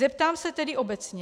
Zeptám se tedy obecně.